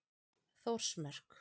Þórsmörk